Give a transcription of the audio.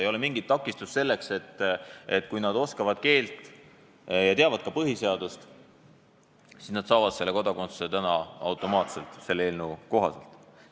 Ei ole mingit takistust selleks, et kui nad oskavad keelt ja teavad ka põhiseadust, siis nad saavad kodakondsuse selle eelnõu kohaselt automaatselt.